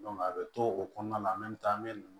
a bɛ to o kɔnɔna la n bɛ taa an bɛ ninnu